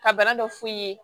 Ka bana dɔ f'u ye